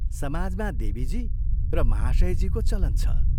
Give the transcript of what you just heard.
समाजमा ' देवीजी ' र ' महाशयजी ' को चलन छ।